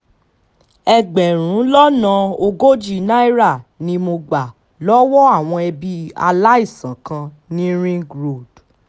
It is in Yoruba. ẹgbẹ̀rún lọ́nà ogójì náírà ni mo gbà lọ́wọ́ àwọn ẹbí aláìsàn kan ní ring road